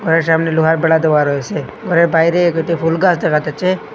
ঘরের সামনে লোহার বেড়া দেওয়া রয়েসে ঘরের বাইরে দুইটি ফুল গাছ দেখা যাচ্ছে।